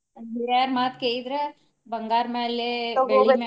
ನಮ್ಮ ಹಿರಿಯರ ಮಾತ ಕೇಳಿದ್ರ ಬಂಗಾರ ಮ್ಯಾಲೆ ಬೆಳ್ಳಿ ಮ್ಯಾಗ.